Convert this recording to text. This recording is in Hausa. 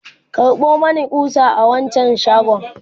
karɓo Mani ƙusa a wancan shagon!